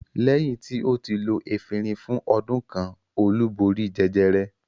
Lẹ́yìn tí ó ti lo efirin fún ọdún kan Olú borí jẹjẹrẹ.